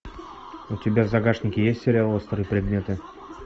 у тебя в загашнике есть сериал острые предметы